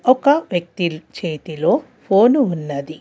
ఒక వ్యక్తి చేతిలో ఫోను ఉన్నది.